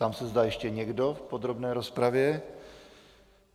Ptám se, zda ještě někdo v podrobné rozpravě.